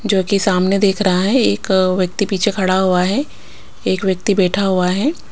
जो कि सामने देख रहा है एक अ व्यक्ति पीछे खड़ा हुआ है एक व्यक्ति बैठा हुआ है।